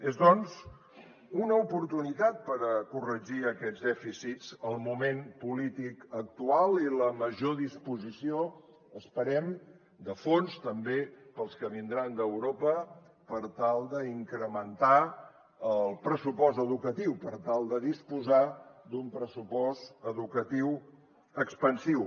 són doncs una oportunitat per corregir aquests dèficits el moment polític actual i la major disposició esperem de fons també pels que vindran d’europa per tal d’incrementar el pressupost educatiu per tal de disposar d’un pressupost educatiu expansiu